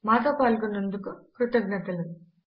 మాతో పాల్గొన్నందుకు కృతజ్ఞతలు